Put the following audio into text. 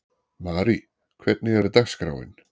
Marí, hvernig er dagskráin?